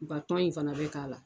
in fana bɛ k'a la.